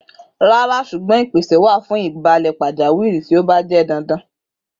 Rara ṣugbọn ipese wa fun ibalẹ pajawiri ti o ba jẹ dandan.